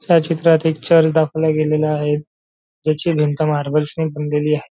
या चित्रात एक चर्च दाखवला गेलेला आहे त्याची भिंत मार्बल ची बनलेली आहे.